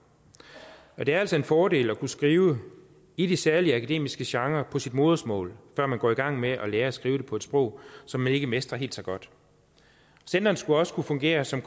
og det er altså en fordel at kunne skrive i de særlige akademiske genrer på sit modersmål før man går i gang med at lære at skrive det på et sprog som man ikke mestrer helt så godt centrene skal også kunne fungere som